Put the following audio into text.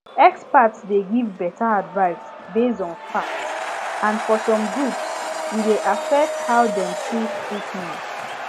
experts dey give better advice based on fact and for some groups e dey affect how dem choose treatment